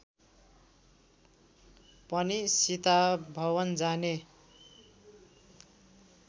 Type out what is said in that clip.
पनि सीताभवन जाने